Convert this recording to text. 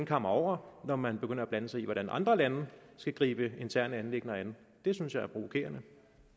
kammer over når man begynder at blande sig i hvordan andre lande skal gribe interne anliggender an det synes jeg er provokerende